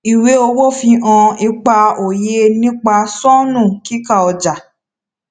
ìwé owó fi hàn ipa òye nípa sọnù kíkà ọjà